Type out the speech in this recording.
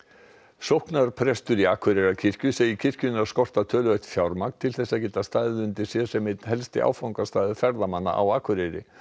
sóknarpresturinn í Akureyrarkirkju segir kirkjuna skorta töluvert fjármagn til þess að geta staðið undir sér sem einn helsti áfangastaður ferðamanna á Akureyri